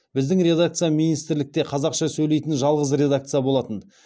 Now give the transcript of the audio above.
біздің редакция министрлікте қазақша сөйлейтін жалғыз редакция болатын